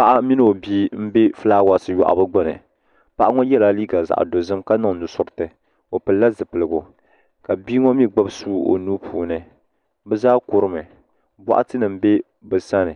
Paɣ mini o bia nbɛ filaawasi yɔɣbu puuni paɣ ŋɔ yɛla liiga zaɣ dozim ka su nusirti o pili la zupiligu ka bia ŋɔ mi gbib sua o nuu puuni bɔɣti nima bɛ bsani